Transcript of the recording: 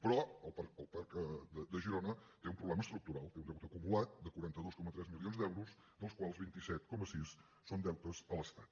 però el parc de girona té un problema estructural té un deute acumulat de quaranta dos coma tres milions d’euros dels quals vint set coma sis són deutes a l’estat